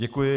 Děkuji.